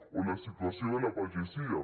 o la situació de la pagesia